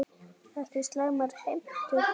Ekki slæmar heimtur það.